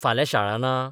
फाल्या शाळा ना?